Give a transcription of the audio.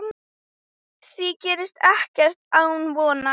Því ekkert gerist án vonar.